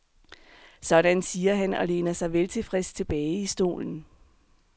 Sådan siger han og læner sig veltilfreds tilbage i stolen.